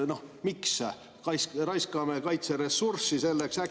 No miks me raiskame kaitseressurssi selleks?